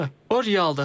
O realdır.